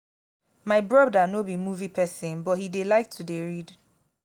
my brother no be movie person but he dey like to dey read